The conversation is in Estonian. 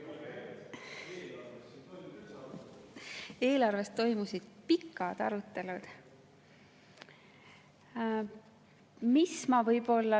Eelarve üle toimusid pikad arutelud.